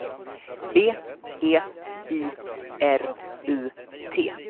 B E I R U T